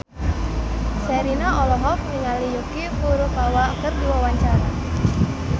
Sherina olohok ningali Yuki Furukawa keur diwawancara